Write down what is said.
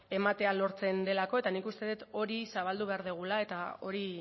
ematea lortzen delako eta nik uste dut hori zabaldu behar dugula eta hori